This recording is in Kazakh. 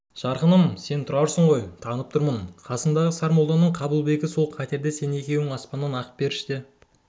жарқыным сен тұрарсың ғой танып тұрмын қасындағы сармолданың қабылбегі сол қатерде сен екеуің аспаннан ақ періште